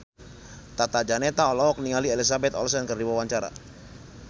Tata Janeta olohok ningali Elizabeth Olsen keur diwawancara